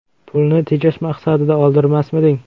Pulni tejash maqsadida oldirmasmiding?